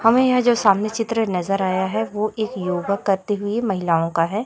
हमे यह जो सामने चित्र नजर आया है वो एक योगा करते हुए महिलाओं का है।